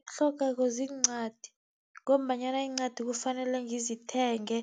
Itlhogeko ziincwadi, ngombanyana iincwadi kufanele ngizithenge,